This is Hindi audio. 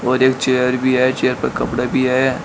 और एक चेयर भी है। चेयर पर कपड़े भी हैं।